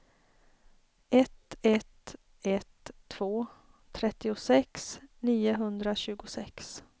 ett ett ett två trettiosex niohundratjugosex